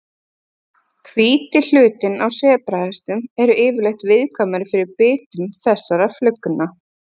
Hvíti hlutinn á sebrahestum eru yfirleitt viðkvæmari fyrir bitum þessara flugna.